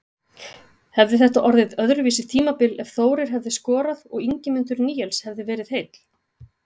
Hefði þetta orðið öðruvísi tímabil ef Þórir hefði skorað og Ingimundur Níels hefði verið heill?